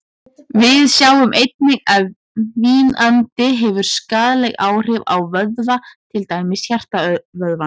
Við sjáum einnig að vínandi hefur skaðleg áhrif á vöðva, til dæmis hjartavöðvann.